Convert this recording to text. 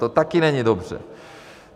To taky není dobře.